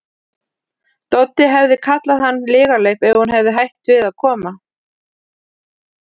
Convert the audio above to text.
Doddi hefði kallað hann lygalaup ef hún hefði hætt við að koma.